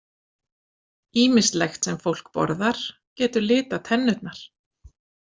Ýmislegt sem fólk borðar getur litað tennurnar.